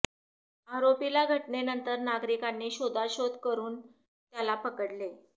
आरोपीला घटनेनंतर नागरिकांनी शोधाशोध करून त्याला पकडले